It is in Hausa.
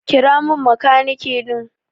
Kira min makaniki din.